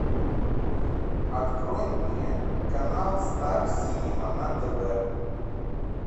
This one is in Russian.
открой мне канал стар синема на тв